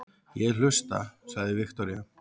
Ég hlusta, sagði Viktoría.